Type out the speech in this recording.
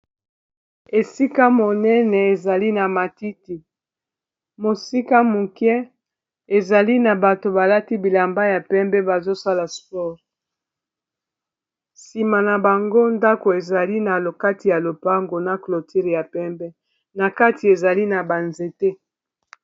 esika monene ezali na matiti mosika muke ezali na bato balati bilamba ya pembe bazosala sport nsima na bango ndako ezali na lokati ya lopango na clotile ya pembe na kati ezali na banzete